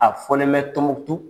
A fɔlen bɛ tumutu